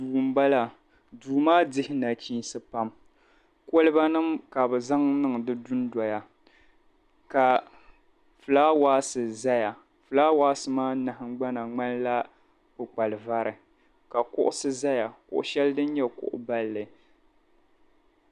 Duu m-bala duu maa dihi nachiinsi pam kolibanima ka bɛ zaŋ niŋ di dundɔya ka fulaawaasi zaya. Fulaawaasi maa nahiŋhbana ŋmanila kpukpalivari ka kuɣisi zaya kuɣ' shɛli din nyɛ kuɣ' balli.